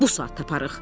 Bu saat taparıq.